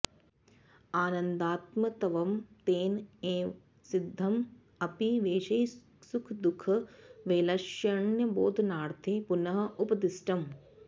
आनन्दात्मत्वं तेन एव सिद्धं अपि वैषयिकसुखदुःखवैलक्ष्यण्यबोधनार्थे पुनः उपदिष्टम्